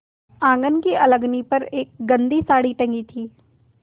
आँगन की अलगनी पर एक गंदी साड़ी टंगी थी